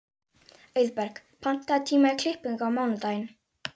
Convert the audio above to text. Auðberg, pantaðu tíma í klippingu á mánudaginn.